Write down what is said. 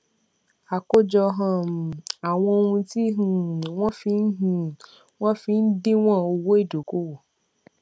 àkójọ um àwọn ohun tí um wọn fi um wọn fi ń díwòn owó ìdókòwò